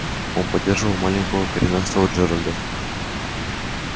он поддерживал маленького коренастого джералда